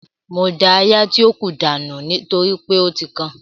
Mo da áyá tí ó kù dànù nítorí pé ó ti kan